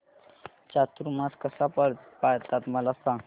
चातुर्मास कसा पाळतात मला सांग